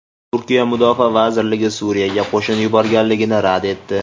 Turkiya Mudofaa vazirligi Suriyaga qo‘shin yuborganligini rad etdi.